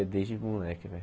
É desde moleque, velho.